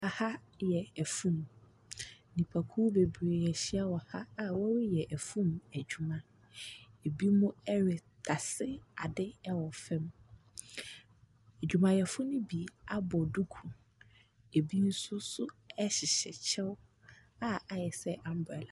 Ha yɛ afuom. Nnipakuo bebree ahyia wɔ ha a wɔreyɛ afuom adwuma. Ebinom retase adeɛ wɔ fam. Adwumayɛfoɔ no bi abɔ duku, ebi nso nso hyehyɛ kyɛw a ayɛ sɛ umbrella.